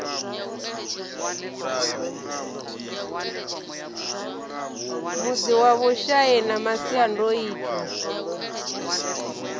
mudzi wa vhushai na masiandaitwa